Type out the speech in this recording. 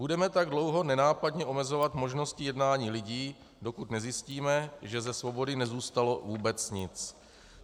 Budeme tak dlouho nenápadně omezovat možnosti jednání lidí, dokud nezjistíme, že ze svobody nezůstalo vůbec nic.